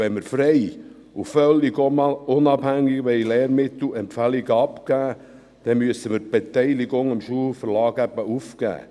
Wenn wir frei und völlig unabhängig Lehrmittelempfehlungen abgeben wollen, dann müssen wir die Beteiligung am Schulverlag eben aufgeben.